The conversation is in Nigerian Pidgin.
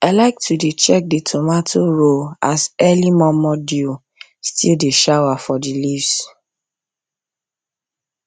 i like to dey check the tomato row as early momo dew still dey shower for the leaves